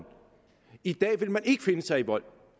i dag vil man ikke finde sig i vold